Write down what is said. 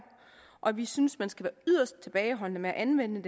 og vi synes man skal yderst tilbageholdende med at anvende